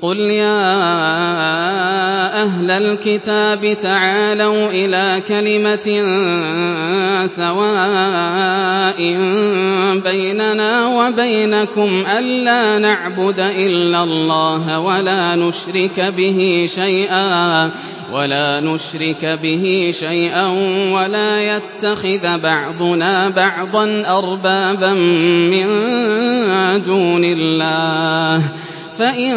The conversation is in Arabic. قُلْ يَا أَهْلَ الْكِتَابِ تَعَالَوْا إِلَىٰ كَلِمَةٍ سَوَاءٍ بَيْنَنَا وَبَيْنَكُمْ أَلَّا نَعْبُدَ إِلَّا اللَّهَ وَلَا نُشْرِكَ بِهِ شَيْئًا وَلَا يَتَّخِذَ بَعْضُنَا بَعْضًا أَرْبَابًا مِّن دُونِ اللَّهِ ۚ فَإِن